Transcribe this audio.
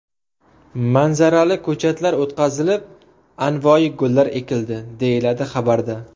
Manzarali ko‘chatlar o‘tqazilib, anvoyi gullar ekildi”, deyiladi xabarda.